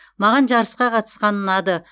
маған жарысқа қатысқан ұнады